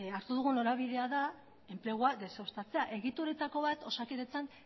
hartu dugun norabidea da enplegua deuseztatzea egituretako bat osakidetzan